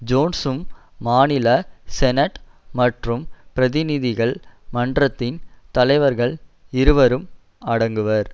ஜோன்சும் மாநில செனட் மற்றும் பிரதிநிதிகள் மன்றத்தின் தலைவர்கள் இருவரும் அடங்குவர்